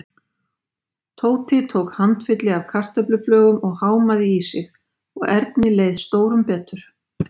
Tóti tók handfylli af kartöfluflögum og hámaði í sig og Erni leið stórum betur.